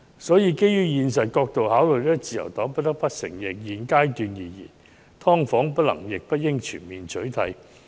所以，基於現實考慮，自由黨不得不承認，在現階段而言，"劏房"不能亦不應全面取締。